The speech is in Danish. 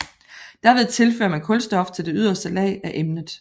Derved tilfører man kulstof til det yderste lag af emnet